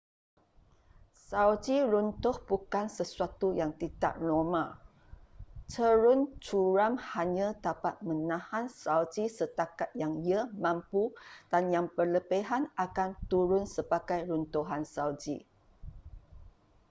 salji runtuh bukan sesuatu yang tidak normal cerun curam hanya dapat menahan salji setakat yang ia mampu dan yang berlebihan akan turun sebagai runtuhan salji